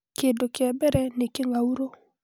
Kĩndũ kĩa mbere nĩ kĩng'aurũ (Leucinodes orbonalis)